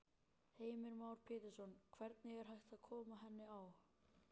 Heimir Már Pétursson: Hvernig er hægt að koma henni á?